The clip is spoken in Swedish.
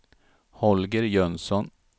Holger Jönsson